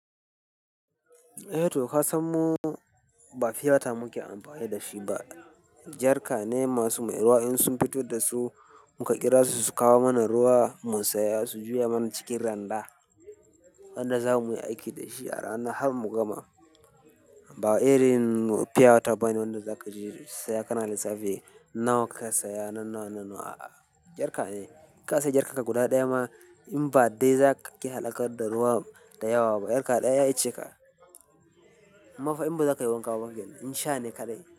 Eh toh ka san mu ba fiata muke amfani da shi ba. Jarka ne masu mai ruwa in sun fito da su muka kira su su kawo mana ruwa mu saya su juya mana cikin randa wanda za mu yi aiki da shi a rana har mu gama. Ba irin pure water bane wanda za ka je saya kana lissafi. Nawa ka saya, na nawa, na nawa a'a jarka ne. Ka saya jarka ka guda ɗaya ma in ba dai za ka ƙi halakar da ruwan da yawa ba. Jarka ɗaya ya ishe ka. Ammafa in ba za ka yi wanka ba ba ke nan in sha ne kaɗai.